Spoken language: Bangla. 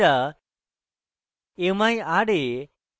mira